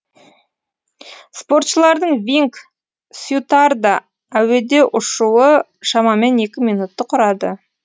спортшылардың винг сьютарда әуеде ұшуы шамамен екі минутты құрады